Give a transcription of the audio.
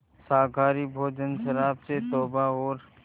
शाकाहारी भोजन शराब से तौबा और